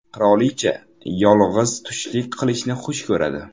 Qirolicha yolg‘iz tushlik qilishni xush ko‘radi.